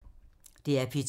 DR P2